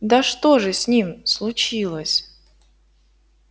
да что же с ним случилось